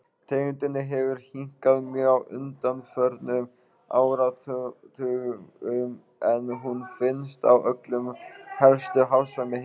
Tegundinni hefur hnignað mjög á undanförnum áratugum en hún finnst á öllum helstu hafsvæðum heimsins.